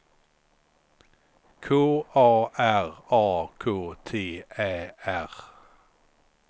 K A R A K T Ä R